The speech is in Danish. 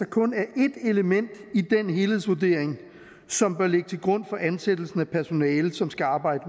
kun er ét element i den helhedsvurdering som bør ligge til grund for ansættelsen af personale som skal arbejde